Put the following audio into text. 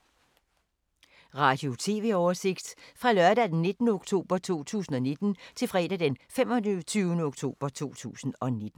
Radio/TV oversigt fra lørdag d. 19. oktober 2019 til fredag d. 25. oktober 2019